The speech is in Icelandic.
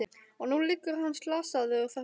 Og nú liggur hann slasaður þarna inni.